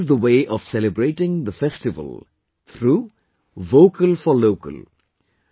This is the way of celebrating the festival through 'Vocal for Local'